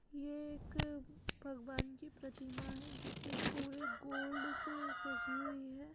ये एक भगवान की प्रतिमा है जोकि पुरे गोल्ड से सजी हुई है।